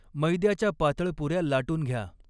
मैद्याच्या पात़ळ पुऱ्या लाटून घ्या.